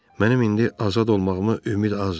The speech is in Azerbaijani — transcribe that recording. Mənim indi azad olmağıma ümid azdır.